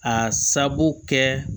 A sababu kɛ